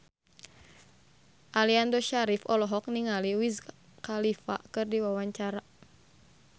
Aliando Syarif olohok ningali Wiz Khalifa keur diwawancara